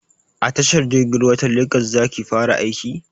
A tashar jirgin ruwa ta legas za ki fara aiki?